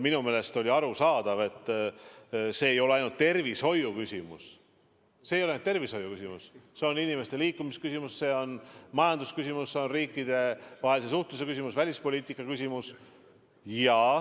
Minu meelest oli arusaadav, et see ei ole ainult tervishoiuküsimus, see on inimeste liikumise küsimus, majandusküsimus, riikidevahelise suhtluse küsimus, välispoliitika küsimus.